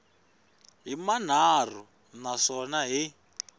hi manharhu na swona hi